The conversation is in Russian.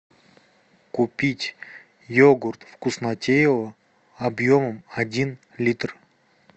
купить йогурт вкуснотеево объемом один литр